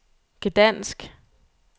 Gdansk